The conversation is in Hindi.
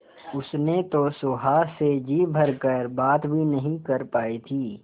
उसने तो सुहास से जी भर कर बात भी नहीं कर पाई थी